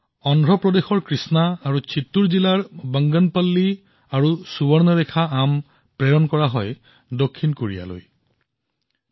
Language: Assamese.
অন্ধ্ৰ প্ৰদেশৰ কৃষ্ণা আৰু চিত্তুৰ জিলাৰ বংগনাপল্লী আৰু সুবৰ্ণৰেখা আম দক্ষিণ কোৰিয়ালৈ ৰপ্তানি কৰা হৈছিল